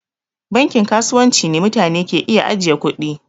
Bankin kasuwanci ne mutane ke iya ajiye kuɗi.